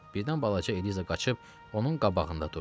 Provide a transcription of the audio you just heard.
Birdən balaca Eliza qaçıb onun qabağında durdu.